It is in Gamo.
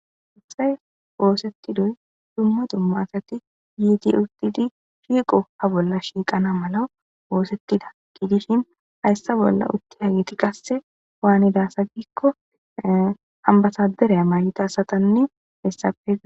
ubsay woosettidoy dumma dumma asati yiiti uttidi shiiqo ha bolla shiiqana mala woosettida giidishin hayssa bolla utti hageti qasse waanida sa giikko ambasadereya mayita asatanne hessapega